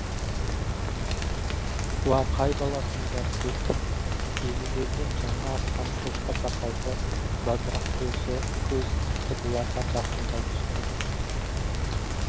уа қай баласыңдар деп елулерден жаңа асқан шоқша сақалды бадырақ көз кісі бұларға жақындай түсті